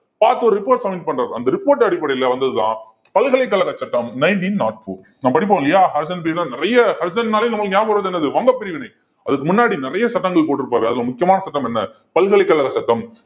பார்த்து ஒரு report submit பண்றாரு அந்த report அடிப்படையில வந்ததுதான் பல்கலைக்கழக சட்டம் nineteen nought four நாம் படிப்போம் இல்லையா நிறைய னாலே நமக்கு ஞாபகம் வர்றது என்னது வங்க பிரிவினை அதுக்கு முன்னாடி நிறைய சட்டங்கள் போட்டிருப்பாரு அதுல முக்கியமான சட்டம் என்ன பல்கலைக்கழக சட்டம்